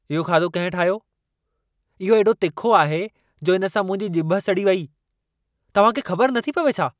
इहो खाधो कहिं ठाहियो? इहो एॾो तिखो आहे जो इन सां मुंहिंजी ॼिभ सड़ी वेई। तव्हां खे ख़बर नथी पवे छा?